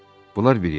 Bunlar bir yana.